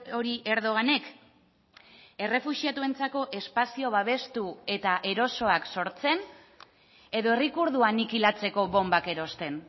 hori erdoganek errefuxiatuentzako espazio babestu eta erosoak sortzen edo herri kurdua anikilatzeko bonbak erosten